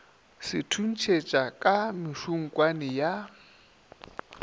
se thuntšhetša ka mešukutšwane ya